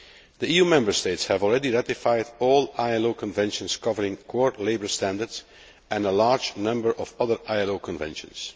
The EU Member States have already ratified all ILO conventions covering core labour standards and a large number of other ILO conventions.